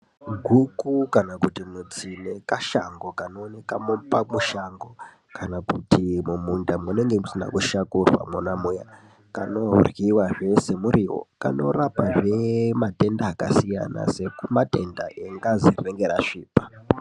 Guku kana kuti mutsine kashango kanoonekwa pamushango kana kuti mumunda munenge musina kushakurwa muya. Kanoryiwazve semuriwo kanorapazve matenda akasiyana siyana sematenda engazi rinenge rasvipa.